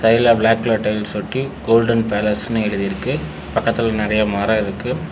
இதுல black colour tiles ஒட்டி golden பேலஸ்னு எழுதிருக்கு பக்கத்துல நெறைய மரோ இருக்கு.